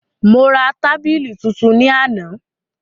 Mo ra tábìlì tuntun ní àná